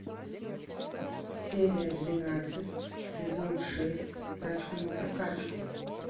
серия двенадцать сезон шесть тачку на прокачку